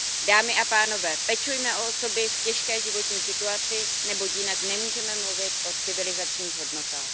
Dámy a pánové, pečujme o osoby v těžké životní situaci, neboť jinak nemůže mluvit o civilizačních hodnotách.